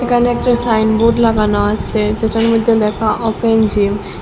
এখানে একটা সাইনবোর্ড লাগানো আছে যেটার মধ্যে লেখা অপেন জিম ।